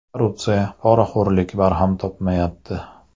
Korrupsiya, poraxo‘rlik barham topmayapti.